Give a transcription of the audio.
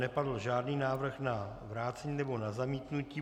Nepadl žádný návrh na vrácení nebo na zamítnutí.